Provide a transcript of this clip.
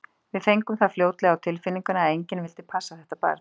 Við fengum það fljótlega á tilfinninguna að enginn vildi passa þetta barn.